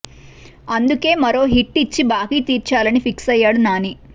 అందుకే మరో హిట్ ఇచ్చి బాకీ తీర్చాలని ఫిక్స్ అయ్యాడు నాని